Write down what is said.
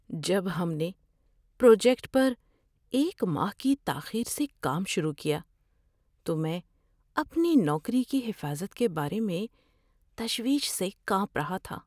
جب ہم نے پروجیکٹ پر ایک ماہ کی تاخیر سے کام شروع کیا تو میں اپنی نوکری کی حفاظت کے بارے میں تشویش سے کانپ رہا تھا۔